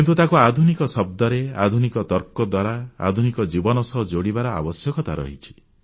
କିନ୍ତୁ ତାକୁ ଆଧୁନିକ ଶବ୍ଦରେ ଆଧୁନିକ ତର୍କ ଦ୍ୱାରା ଆଧୁନିକ ଜୀବନ ସହ ଯୋଡ଼ିବାର ଆବଶ୍ୟକତା ଅଛି